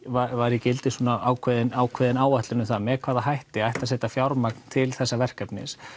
var í gildi ákveðin ákveðin áætlun um það með hvaða hætti ætti að setja fjármagn til þessa verkefnis